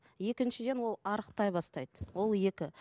екіншіден ол арықтай бастайды ол екі